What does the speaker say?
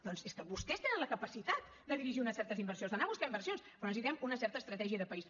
doncs és que vostès tenen la capacitat de dirigir unes certes inversions d’anar a buscar inversions però necessitem una certa estratègia de país